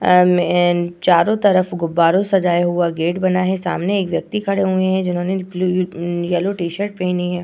अ-म एन चारों तरफ गुब्बारों से सजाया हुआ गेट बना है सामने एक व्यक्ति खड़े हुए हैं जिन्होंने ब्लू म-म येलो टी-शर्ट पहनी है।